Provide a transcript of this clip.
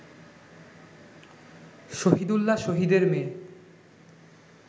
শহিদুল্লাহ শহিদের মেয়ে